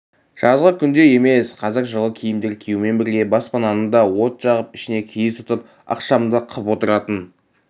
жазғы күндей емес қазір жылы киімдер киюмен бірге баспананы да от жағып ішіне киіз тұтып ықшамды қып отыратын